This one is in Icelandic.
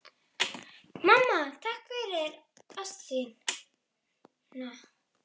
Mamma, takk fyrir ást þína.